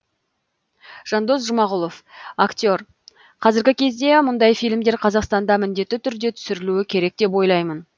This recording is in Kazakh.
жандос жұмағұлов актер қазіргі кезде мұндай фильмдер қазақстанда міндетті түрде түсірілуі керек деп ойлаймын